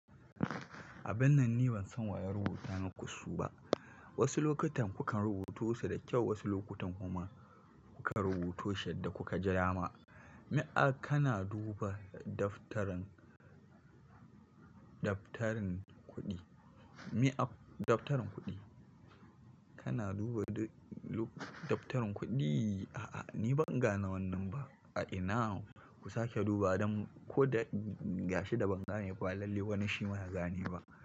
A bin nan ni ban san waya rubuta mu kusu ba. Wasu lokutan kukan rubuto su da kyau, wasu lokutan kuma kuka rubuto shi yadda kuka jidama. Me aka na duba daftarin, daftarin kuɗi? Me ap daftarin kuɗi? Kana duba lup daftarin kuɗi? A'a, ni ban gane wannan ba. ⁷ A ina kusa ke duba don ko da gashi da ban gane ba, lalle wani shi ma ya gane ba?